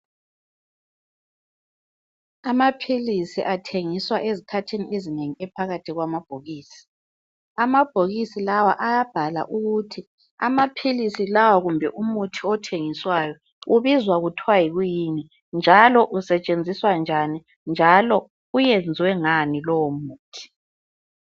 Amaphilisi athengiswa ezikhathini ezinengi ephakathi kwamabhokisi . Amabhokisi lawa ayabhalwa ukuthi amaphilisi lawa kumbe umuthi othengiswayo ubizwa kuthwa yikwiyini njalo usetshenziswa njani njalo uyenziwe ngani lowo muthi .